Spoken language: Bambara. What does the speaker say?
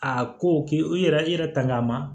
A ko k'i yɛrɛ i yɛrɛ tanga ma